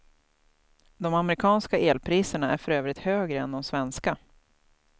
De amerikanska elpriserna är för övrigt högre än de svenska.